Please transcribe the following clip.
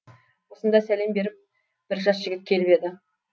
осында сәлем беріп бір жас жігіт келіп еді